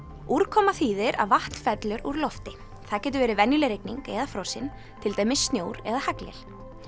úrkoma þýðir að vatn fellur úr lofti það getur verið venjuleg rigning eða frosin til dæmis snjór eða haglél